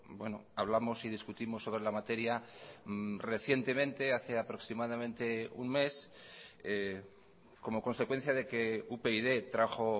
bueno hablamos y discutimos sobre la materia recientemente hace aproximadamente un mes como consecuencia de que upyd trajo